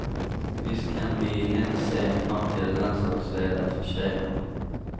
Visst kan vi i henne se en framtida landslagsledare för tjejerna.